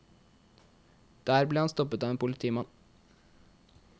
Der ble han stoppet av en politimann.